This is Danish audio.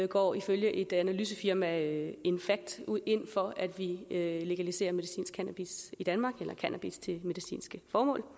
går ifølge analysefirmaet infact ind for at vi legaliserer medicinsk cannabis i danmark cannabis til medicinske formål og